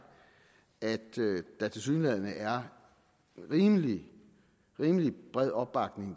at der tilsyneladende er rimelig rimelig bred opbakning